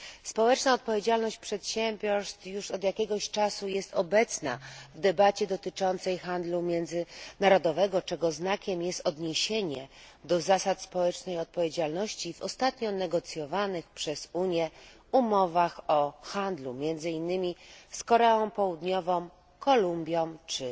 Społeczna odpowiedzialność przedsiębiorstw już od jakiegoś czasu jest obecna w debacie dotyczącej międzynarodowego handlu, czego znakiem jest odniesienie do zasad społecznej odpowiedzialności w ostatnio negocjowanych przez Unię umowach o handlu, między innymi z Koreą Południową, Kolumbią czy